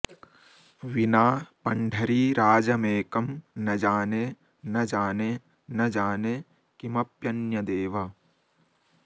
विना पण्ढरीराजमेकं न जाने न जाने न जाने किमप्यन्यदेव